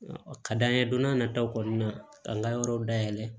Ka d'an ye don n'a nataw kɔnɔna ka n ka yɔrɔw dayɛlɛ